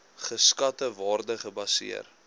geskatte waarde gebaseer